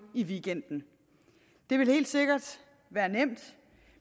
i weekenden det vil helt sikkert være nemt